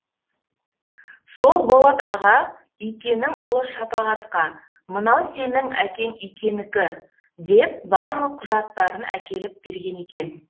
сол болат аға икенің ұлы шапағатқа мынау сенің әкең икенікі деп барлық құжаттарын деп әкеп берген екен